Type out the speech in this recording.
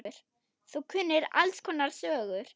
Þú kunnir alls konar sögur.